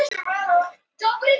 Nóri, er opið í Blómaborg?